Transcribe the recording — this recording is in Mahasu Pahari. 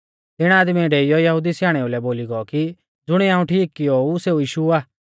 तिणी आदमीऐ डेईयौ यहुदी स्याणेऊ लै बोली गौ कि ज़ुणिऐ हाऊं ठीक कियो ऊ सेऊ यीशु आ